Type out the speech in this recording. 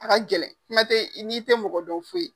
A ka gɛlɛn kuma tɛ n'i te mɔgɔ dɔn foyi .